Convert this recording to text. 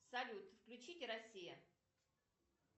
салют включите россия